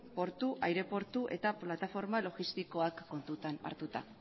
portu aireportu eta plataforma logistikoak kontutan hartuta